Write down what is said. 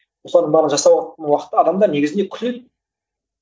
осылардың барлығын жасау уақытта адамдар негізінен күледі